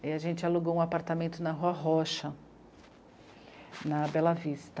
Aí a gente alugou um apartamento na Rua Rocha, na Bela Vista.